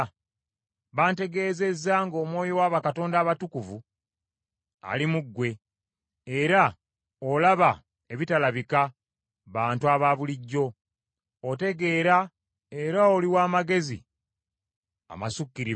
Bantegeezezza ng’omwoyo wa bakatonda abatukuvu ali mu ggwe, era olaba ebitalabibwa bantu abaabulijjo, otegeera era oli w’amagezi amasukkirivu.